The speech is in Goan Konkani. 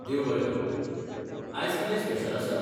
देव बरें करूं. आयज कितें स्पेशल आसा?